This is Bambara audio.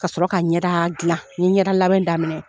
Ka sɔrɔ ka ɲɛda dilan. N ye ɲɛda labɛn daminɛ